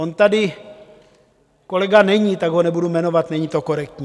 On tady kolega není, tak ho nebudu jmenovat, není to korektní.